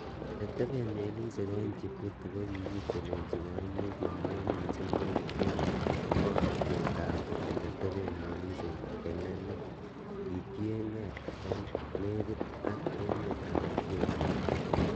Ele teben melisiek en jibuti, kokitelelsi koimutiet neo missing nekitere borotetab ele teben melisiek ele leel kotienge ele nekit ak emetab Ethiopia.